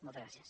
moltes gràcies